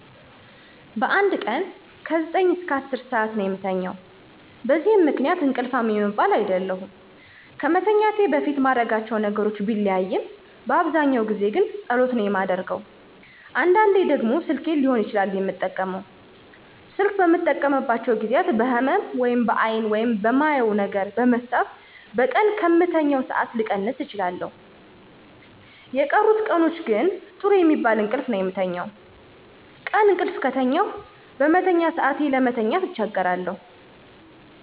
በአንድ ቀን ከ9-10 ሠአት ነው የምተኛው። በዚህ ምክንያት እንቅልፋም የምባል አይደለሁም። ከመተኛቴ በፊት ማረጋቸው ነገሮች ቢለያይም በአብዛኛው ጊዜ ግን ጸሎት ነው የማደርገው። አንዳንዴ ደግሞ ስልኬን ሊሆን ይችላል የምጠቀመው። ስልክ በምጠቀምባቸው ጊዜያት በህመም(በአይን) ወይም በማየው ነገር በመሳብ በቀን ከምተኛው ሠአት ልቀንስ እችላለሁ። የቀሩት ቀናቶች ግን ጥሩ የሚባል እንቅልፍ ነው የምተኛው። ቀን እቅልፍ ከተኛሁ በመተኛ ሰአቴ ለመተኛት አቸገራለሁ